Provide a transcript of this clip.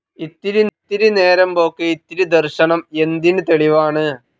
ഇത്തിരി നേരംമ്പോക്ക് ഇത്തിരി ദർശനം എന്തിന് തെളിവാണ്.